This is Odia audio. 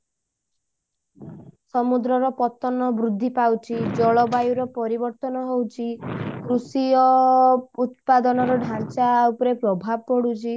ସମୁଦ୍ର ର ପତନ ବୃଦ୍ଧି ପାଉଛି ଜଳବାୟୁ ରେ ପରିବର୍ତନ ହଉଛି କୃଷିୟ ଉତ୍ପାଦନର ଢାଞ୍ଚା ଉପରେ ପ୍ରଭାବ ପଡୁଛି